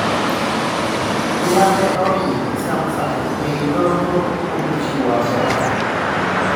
Maneoridhi Samsung ei doho kuom chiwo asoya